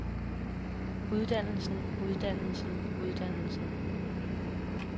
uddannelsen uddannelsen uddannelsen